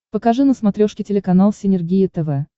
покажи на смотрешке телеканал синергия тв